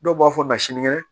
Dɔw b'a fɔ ma sinikɛnɛ